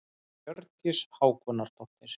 Hjördís Hákonardóttir.